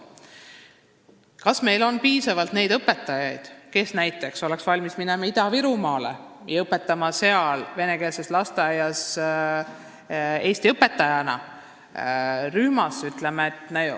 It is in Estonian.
Kas meil on piisavalt neid õpetajaid, kes oleks näiteks valmis minema Ida-Virumaale ja seal venekeelses lasteaiarühmas eesti õpetajana õpetama?